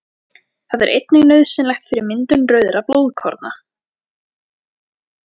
Það er einnig nauðsynlegt fyrir myndun rauðra blóðkorna.